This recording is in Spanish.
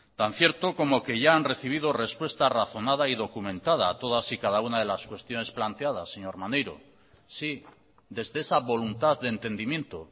tan cierto como que ya han recibido respuesta razonada y documentada a todas y cada una de las cuestiones planteadas señor maneiro sí desde esa voluntad de entendimiento